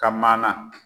Ka mana